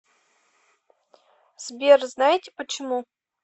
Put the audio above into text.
сбер знаете почему